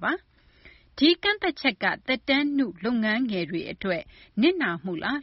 ပါ။ ဒီကန့်သတ်ချက်က သက်တမ်း နု လုပ်ငန်းငယ်တွေ အတွက် နစ်နာမှုလား